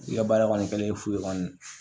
U ka baara kɔni kɛlen fu ye kɔni